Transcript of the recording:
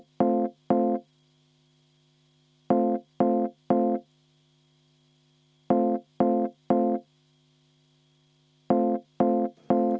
Vaheaeg kümme minutit.